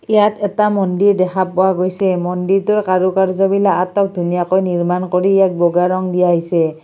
ইয়াত এটা মন্দিৰ দেখা পোৱা গৈছে মন্দিৰটোৰ কাৰু-কাৰ্য্য বিলাক আটক ধুনীয়াকৈ নিৰ্মাণ কৰি ইয়াক বগা ৰং দিয়া হৈছে।